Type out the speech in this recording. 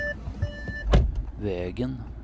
vägen